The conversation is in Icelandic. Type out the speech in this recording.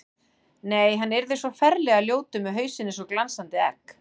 Nei, hann yrði svo ferlega ljótur með hausinn eins og glansandi egg.